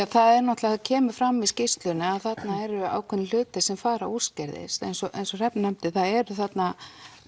það náttúrulega kemur fram í skýrslunni að þarna eru ákveðnir hlutir sem fara úrskeiðis eins og Hrefna nefndi það eru þarna